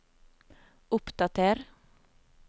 oppdater